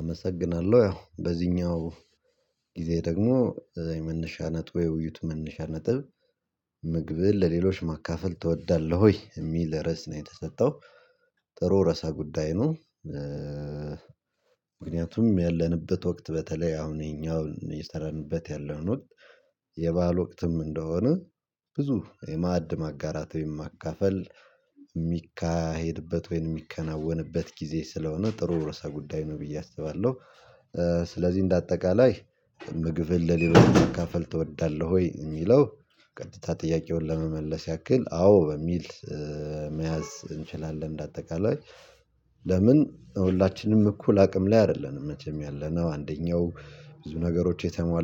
አመሰግናለሁ ያው በዚህኛው ጊዜ ደግሞ እዛ የመነሻ ነጥብ የውይይት መነሻ ነጥብ ምግብህን ለሌሎች ማካፈል ትወዳለህ ወይ የሚል ርዕስ ነው? የተሰጠው ጥሩ ርዕሰ ጉዳይ ነው። ምክንያቱም ያለንበት ወቅት በተለይ አሁን ይሄኛውን የሰራንበት ያለን ወቅት የባህል ወቅትም እንደሆነ ብዙ የማዕድም ማጋራት ወይም የማካፈል የሚካሄድበት ወይንም የሚከናወንበት ጊዜ ስለሆነ ጥሩ ርዕሰ ጉዳይ ነው ብዬ አስባለሁ። ስለዚህ እንደ አጠቃላይ ምግብህን ለሎች መካፈል ትወዳለህ ወይ የሚለው ቀጥታ ጥያቄውን ለመመለስ ያክል አዎ በሚል መያዝ እንችላለን። እንደ አጠቃላይ ምክንያቱም ያለንበት ወቅት በተለይ አሁን ይሄኛውን የሰራንበት ያለን ወቅት የባህል ወቅትም እንደሆነ ብዙ የማዕድም ማጋራት ወይም የማካፈል የሚካሄድበት ወይንም የሚከናወንበት ጊዜ ስለሆነ ጥሩ ርዕሰ ጉዳይ